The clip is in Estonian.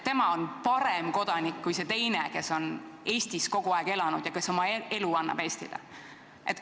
Tema on parem kodanik kui see teine, kes on Eestis kogu aeg elanud ja kes annab oma elu Eestile.